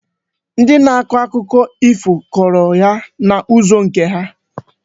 Ndị na-akọ akụkọ ifo kọrọ ya n'ụzọ nke ha.